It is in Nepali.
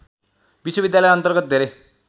विश्वविद्यालयअन्तर्गत धेरै